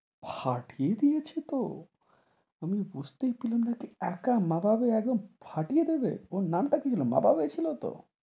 ফাটিয়ে দিয়েছে তো আমি বুঝতে ছিলেন না যে একা মারাবে একদম ফাটিয়ে দেবে, ওর নাম তা কি ছিল, মারাবে ছিল তো?